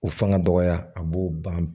O fanga dɔgɔya a b'o ban